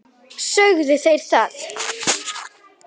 Sögðu þeir það?